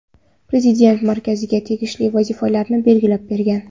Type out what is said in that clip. Prezident markazga tegishli vazifalarni belgilab bergan.